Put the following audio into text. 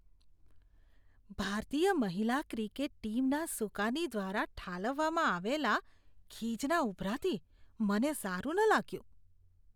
ભારતીય મહિલા ક્રિકેટ ટીમના સુકાની દ્વારા ઠાલવવામાં આવેલા ખીજના ઉભરાથી મને સારું ન લાગ્યું.